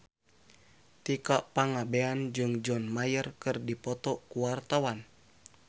Tika Pangabean jeung John Mayer keur dipoto ku wartawan